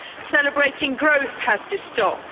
Celebrating growth has to stop.